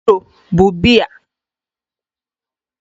Hero bụ biya